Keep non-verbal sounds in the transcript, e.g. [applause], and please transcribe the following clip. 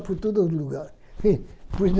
Por todo algum lugar [unintelligible]